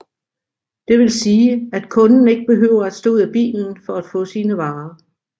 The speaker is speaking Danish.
Det vil sige at kunden ikke behøver at stå ud af bilen for at få sine varer